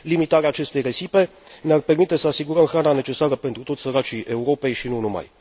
Limitarea aceste risipe ne ar permite să asigurăm hrana necesară pentru toți săracii Europei și nu numai.